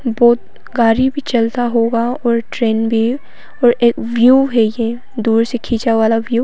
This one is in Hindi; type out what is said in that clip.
बहुत गाड़ी भी चलता होगा और ट्रेन भी और एक व्यू है ये दूर से खींचा वाला व्यू --